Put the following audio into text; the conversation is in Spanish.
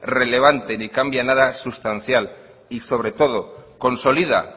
relevante ni cambia nada sustancial y sobre todo consolida